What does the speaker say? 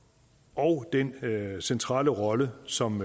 og den centrale rolle som